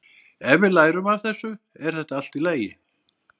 Ef við lærum af þessu er þetta allt í lagi.